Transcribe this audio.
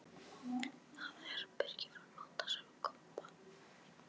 Það herbergi var notað sem kompa